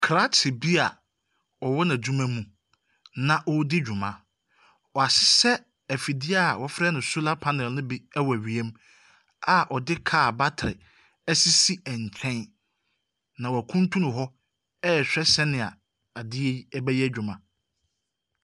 Krakye bi ɔwɔ n’adwuma mu na ɔredi dwuma, wahyehyɛ ɛfidie a wɔfrɛ no solar panels no bi wɔ wiem a ɔde kaa batere asisi nkyɛn, na wakuntunu hɔ ɛrehwɛ sɛdeɛ adeɛ yi bɛyɛ adwuma.